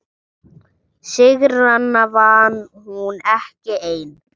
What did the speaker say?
Sigrana vann hún ekki ein.